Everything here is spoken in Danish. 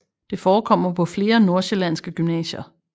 Det forekommer på flere nordsjællandske gymnasier